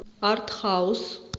артхаус